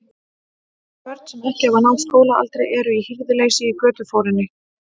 Börn, sem ekki hafa náð skólaaldri, eru í hirðuleysi í götuforinni.